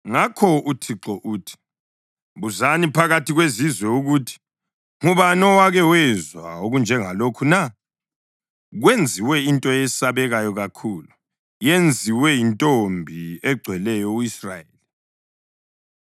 Ngakho uThixo uthi: “Buzani phakathi kwezizwe ukuthi: Ngubani owake wezwa okunjengalokhu na? Kwenziwe into eyesabekayo kakhulu, yenziwe yintombi egcweleyo u-Israyeli.